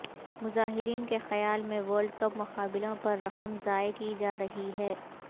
مظاہرین کے خیال میں ورلڈ کپ مقابلوں پر رقم ضائع کی جا رہی ہے